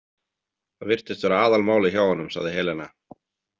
Það virtist vera aðalmálið hjá honum, sagði Helena.